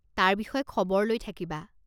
তাৰ বিষয়ে খবৰ লৈ থাকিবা।